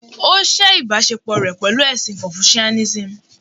Ó sẹ́ ìbáṣepò rẹ̀ pẹ̀lú ẹ̀sìn Confucianism